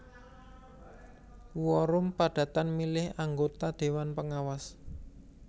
Quorum padatan milih anggota déwan pengawas